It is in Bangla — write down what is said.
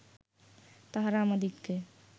তাঁহারা আমাদিগকে